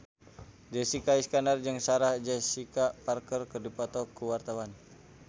Jessica Iskandar jeung Sarah Jessica Parker keur dipoto ku wartawan